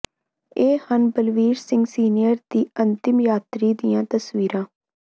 ਇਹ ਹਨ ਬਲਬੀਰ ਸਿੰਘ ਸੀਨੀਅਰ ਦੀ ਅੰਤਮ ਯਾਤਰੀ ਦੀਆਂ ਤਸਵੀਰਾਂ